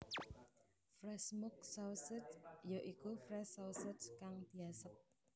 Fresh Smoke Sausage ya iku Fresh Sausage kang diasep